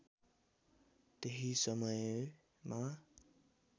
त्यही समयमा